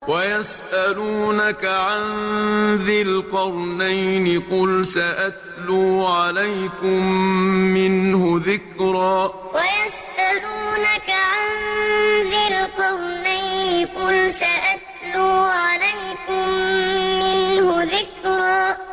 وَيَسْأَلُونَكَ عَن ذِي الْقَرْنَيْنِ ۖ قُلْ سَأَتْلُو عَلَيْكُم مِّنْهُ ذِكْرًا وَيَسْأَلُونَكَ عَن ذِي الْقَرْنَيْنِ ۖ قُلْ سَأَتْلُو عَلَيْكُم مِّنْهُ ذِكْرًا